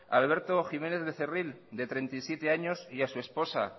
a alberto jiménez de cerril de treinta y siete años y a su esposa